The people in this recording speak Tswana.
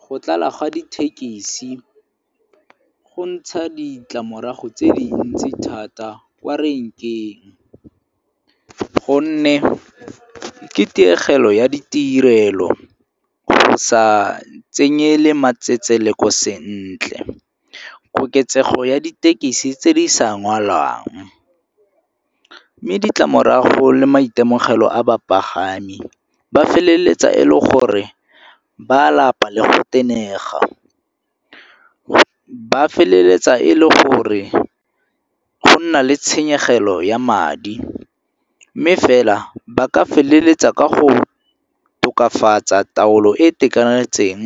Go tlala ga dithekisi go ntsha ditlamorago tse di ntsi thata kwa renkeng gonne ke tiegelo ya ditirelo, go sa tsenyele matsetseleko sentle, koketsego ya ditekisi tse di sa ngwalang. Mme ditlamorago le maitemogelo a bapagami ba feleletsa e le gore ba a lapa le go tenega. Ba feleletsa e le gore go nna le tshenyegelo ya madi mme fela ba ka feleletsa ka go tokafatsa taolo e e itekanetseng